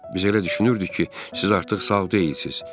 Biz elə düşünürdük ki, siz artıq sağ deyilsiz.